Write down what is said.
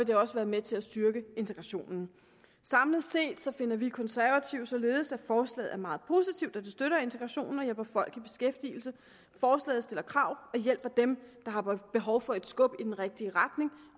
det også være med til at styrke integrationen samlet set finder vi konservative således at forslaget er meget positivt da det støtter integrationen og hjælper folk i beskæftigelse forslaget stiller krav og hjælper dem der har behov for et skub i den rigtige retning